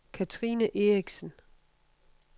Katrine Eriksen